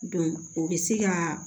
o bɛ se ka